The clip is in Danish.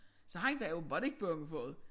Så han var åbenbart ikke bange for det